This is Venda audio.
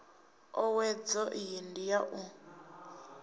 owedzo iyi ndi ya u